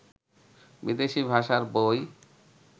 বিদেশি ভাষার বই